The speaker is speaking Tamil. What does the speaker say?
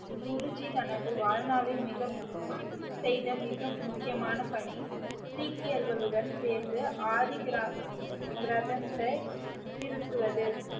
குருஜி தனது வாழ்நாளில் மிக~ செய்த மிக முக்கியமான பணி சீக்கியர்களுடன் சேர்ந்து ஆதிகிரா~ கிரந்தத்தை திருத்துவது